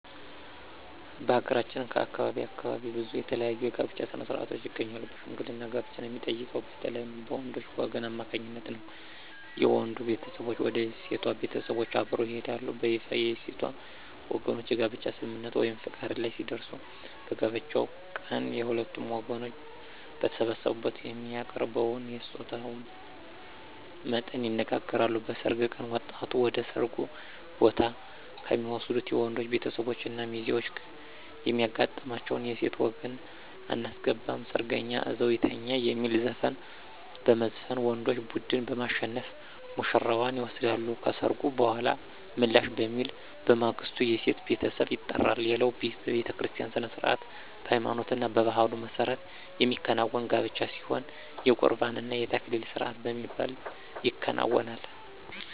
በሀገራችን ከአካባቢ አካባቢ ብዙ የተለያዩ የጋብቻ ሥነ-ሥርዓቶች ይገኛሉ በሽምግልና ጋብቻን የሚጠይቀው በተለይም በወንዶች ወገን አማካኝነት ነው። የወንዱ ቤተሰቦች ወደ ሴቷ ቤተሰቦች አብረው ይሄዳሉ። በይፋ የሴቷ ወገኖች የጋብቻ ስምምነት(ፈቃድ) ላይ ሲደርሱ በጋብቻው ቀን የሁለቱም ወገኖች በተሰበሰቡበት የሚያቀርበውን የስጦታ መጠን ይነጋገራሉ። በሰርግ ቀን ወጣቷን ወደ ሰርጉ ቦታ ከሚወስዱት የወንዶች ቤተሰቦች እና ሚዜዎች የሚያጋጥማቸው የሴት ወገን *አናስገባም ሰርገኛ እዛው ይተኛ* የሚል ዘፈን በመዝፈን ወንዶች ቡድን በማሸነፍ ውሽራዋን ይወስዳሉ። ከሰርጉ በኃላ ምላሽ በሚል በማግስቱ የሴቷ ቤተሰብ ይጠራሉ። ሌላው በቤተክርስቲያ ሥነ-ሥርዓት በሃይማኖትና በባህሉ መሠረት የሚከናወን ጋብቻ ሲሆን የቁርባን እና የተክሊል ስርአት በሚባል ይከናወናል።